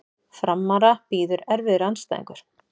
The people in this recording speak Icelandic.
Framara bíður erfiður andstæðingur